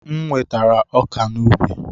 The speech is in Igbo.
M wetara ọka n'ubi.